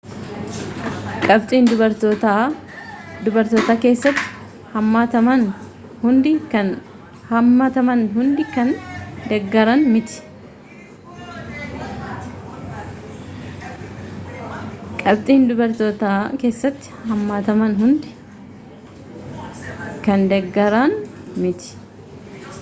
qabxiin dubartootaa keessatti hammataman hundi kan deeggaran miti